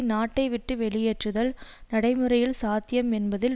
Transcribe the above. நாட்டை விட்டு வெளியேற்றுதல் நடைமுறையில் சாத்தியம் என்பதில்